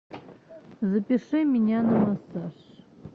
запиши меня на массаж